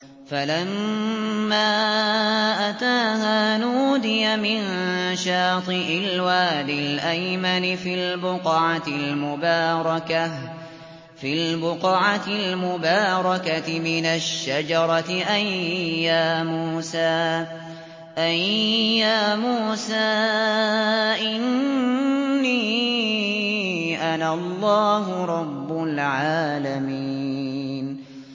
فَلَمَّا أَتَاهَا نُودِيَ مِن شَاطِئِ الْوَادِ الْأَيْمَنِ فِي الْبُقْعَةِ الْمُبَارَكَةِ مِنَ الشَّجَرَةِ أَن يَا مُوسَىٰ إِنِّي أَنَا اللَّهُ رَبُّ الْعَالَمِينَ